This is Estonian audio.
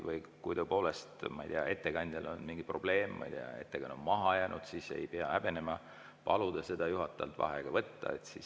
Kui tõepoolest, ma ei tea, ettekandjal on mingi probleem, ma ei tea, ettekanne on maha jäänud, siis ei pea häbenema paluda juhatajal vaheaega võtta.